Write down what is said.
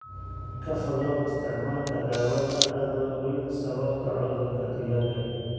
Ka fogow isticmaalka daawada adoon ogayn sababta cudurka digaagga.